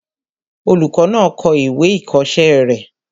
Olùkọ́ náà kọ ìwé ìkọ̀ọ́sẹ́ rẹ̀